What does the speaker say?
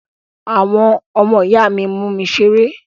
Àwọn ọmọ ìyá mi mú mi ṣeré.